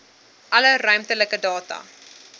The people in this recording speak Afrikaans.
alle ruimtelike data